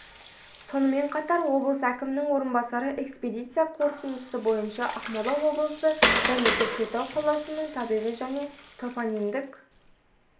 сонымен қатар облыс әкімінің орынбасары экспедиция қорытындысы бойынша ақмола облысы және көкшетау қаласының табиғи және топонимдік